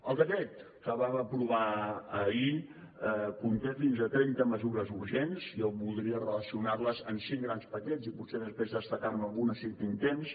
el decret que vam aprovar ahir conté fins a trenta mesures urgents jo voldria relacionar les amb cinc grans paquets i potser després destacar ne alguna si tinc temps